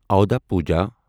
اوٚدا پوجا